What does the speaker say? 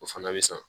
O fana bɛ san